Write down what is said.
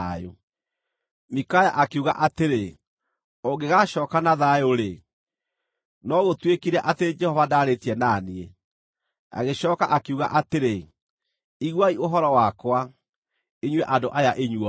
Mikaya akiuga atĩrĩ, “Ũngĩgaacooka na thayũ-rĩ, no gũtuĩkire atĩ Jehova ndaarĩtie na niĩ.” Agĩcooka akiuga atĩrĩ, “Iguai ũhoro wakwa, inyuĩ andũ aya inyuothe!”